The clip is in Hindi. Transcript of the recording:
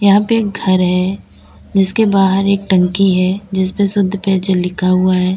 यहां पे एक घर है जिसके बाहर एक टंकी है जिसपे शुद्ध पेयजल लिखा हुआ है।